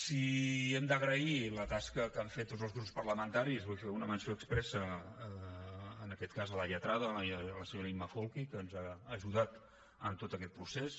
si hem d’agrair la tasca que han fet tots els grups parlamentaris vull fer una menció expressa en aquest cas a la lletrada la senyora imma folchi que ens ha ajudat en tot aquest procés